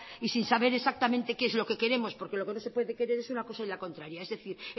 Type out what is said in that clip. y sin saber exactamente qué es lo que queremos porque lo que no se puede querer es una caso y la contraria es decir